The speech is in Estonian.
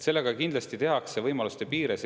Sellega kindlasti tehakse võimaluste piires.